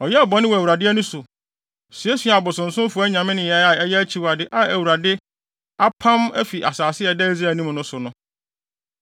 Ɔyɛɛ bɔne wɔ Awurade ani so, suasuaa abosonsomfo aman nneyɛe a ɛyɛ akyiwade a Awurade apam afi asase a ɛda Israel anim no so no.